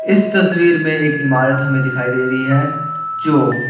इस तस्वीर में एक इमारत हमें दिखाई दे रही है जो--